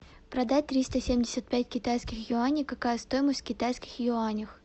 продать триста семьдесят пять китайских юаней какая стоимость в китайских юанях